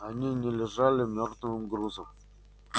они не лежали мёртвым грузом